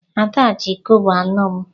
Ada ji kobo anọ m.